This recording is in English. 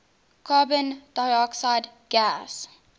carbon dioxide gas